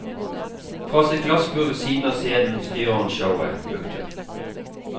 Fra sitt glassbur ved siden av scenen styrer han showet. punktum